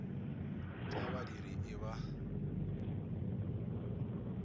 t a badiri i ba